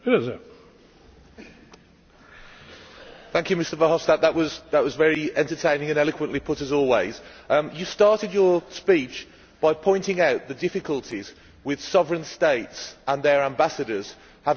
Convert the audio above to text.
Thank you, Mr Verhofstadt, that was very entertaining and eloquently put as always. You started your speech by pointing out the difficulties with sovereign states and their ambassadors having different views and different priorities when dealing with Russia.